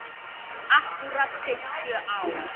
Akkúrat fimmtíu ár.